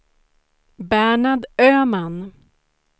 Bernhard Öhman